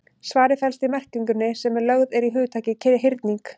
Svarið felst í merkingunni sem lögð er í hugtakið hyrning.